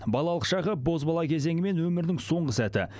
балалық шағы бозбала кезеңі мен өмірінің соңғы сәті